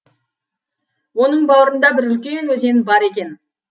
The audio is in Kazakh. оның бауырында бір үлкен өзен бар екен